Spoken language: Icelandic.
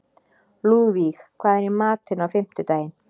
Lúðvíg, hvað er í matinn á fimmtudaginn?